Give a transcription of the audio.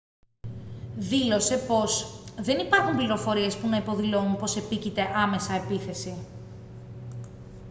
δήλωσε πως «δεν υπάρχουν πληροφορίες που να υποδηλώνουν πως επίκειται άμεσα επίθεση